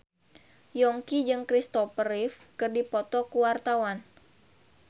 Yongki jeung Kristopher Reeve keur dipoto ku wartawan